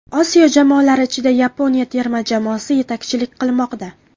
Osiyo jamoalari ichida Yaponiya terma jamoasi yetakchilik qilmoqda.